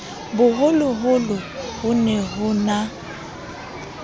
boholoholo ho ne ho na